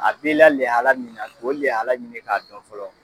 o de ye Ala ɲini k'a dɔn fɔlɔ